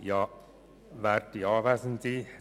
Dann ist es ohnehin klar.